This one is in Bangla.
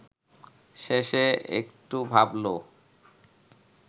শেষে একটু ভাবল